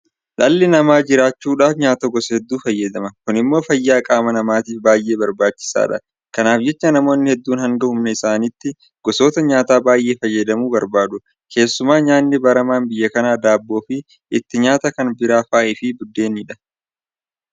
Dhalli namaa jiraachuudhaaf nyaata gosa hedduu fayyadama. Kun immoo fayyaa qaama namaatiif baay'ee barbaachisaadha. Kanaaf jecha namoonni hedduun hanga humna isaanii gosoota nyaataa baay'ee fayyadamuu barbaadu. Keessumaa nyaanni baramaan biyya kanaa Daabboofi itti nyaata kan biraa fa'aafi buddeenidha.